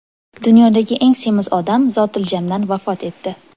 Dunyodagi eng semiz odam zotiljamdan vafot etdi.